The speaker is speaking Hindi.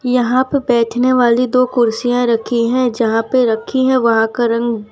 यहां पे बैठने वाली दो कुर्सियां रखी है जहां पे रखी है वहां का रंग--